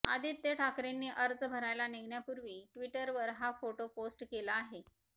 आदित्य ठाकरेंनी अर्ज भरायला निघण्यापूर्वी ट्विटरवर हा फोटो पोस्ट केला आहे